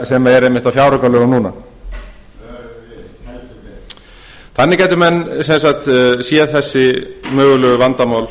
sem er einmitt á fjáraukalögum núna þannig gætu menn sem sagt séð þessi mögulegu vandamál